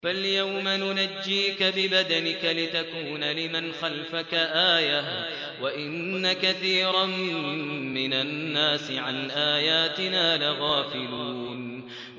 فَالْيَوْمَ نُنَجِّيكَ بِبَدَنِكَ لِتَكُونَ لِمَنْ خَلْفَكَ آيَةً ۚ وَإِنَّ كَثِيرًا مِّنَ النَّاسِ عَنْ آيَاتِنَا لَغَافِلُونَ